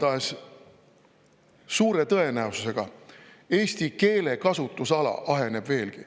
Igatahes suure tõenäosusega eesti keele kasutusala aheneb veelgi.